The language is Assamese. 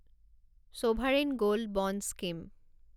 sovereign gold bond scheme